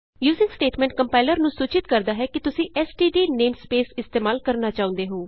using statement compiler ਨੂੰ ਸੂਚਿਤ ਕਰਦਾ ਹੈ ਕਿ ਤੁਸੀਂ ਐਸਟੀਡੀ ਨੇਮਸਪੇਸ ਇਸਤੇਮਾਲ ਕਰਨਾ ਚਾਹੁੰਦੇ ਹੋ